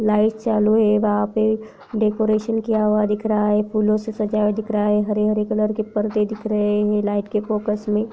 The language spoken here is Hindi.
लाइट चालू हैं वहाँ पे डेकोरेशन किया हुआ दिख रहा हैं फूलों से सजाया दिख रहा हैं हरे-हरे कलर के पर्दे दिख रहे हैं लाइट के फोकस में--